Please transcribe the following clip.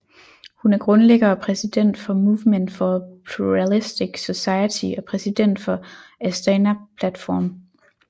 Hun er grundlægger og præsident for Movement for a Pluralistic Society og præsident for Astana Platform